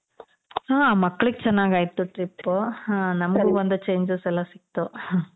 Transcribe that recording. ಹಾ ಮಕ್ಳಿಗೆ ಚೆನಾಗಾಯಿತು trip. ನಮಗೆಲ್ಲ ಒಂದು changes ಎಲ್ಲಾ ಸಿಕ್ತು.